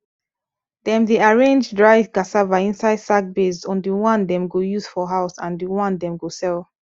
dem dey arrange dry cassava inside sack base on di one dem go use for house and di one dem go sell